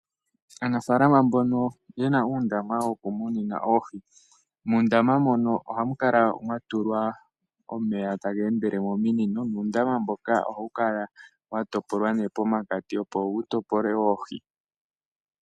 Aanafaalama mbono ye na uundama wokumunina oohi, muundama mono ohamu kala mwa tulwa omeya taga endele mominino nuundama mbono ohawu kala wa topolwa pomakati, opo wu topole oohi.